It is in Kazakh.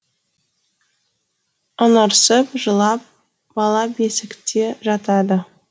ыңырсып жылап бала бесікте жатады